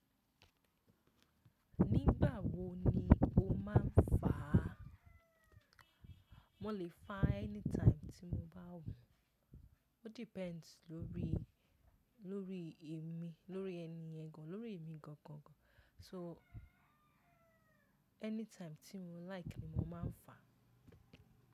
Nígbà wo ni o máa ń fá? Mo lè fá anytime tí mo bá wù Ó depends lórí, lórí èmi, lórí ẹni yẹn gan, lórí èmi gangan gan. So anytime tí mo like ni mo máa ń fá.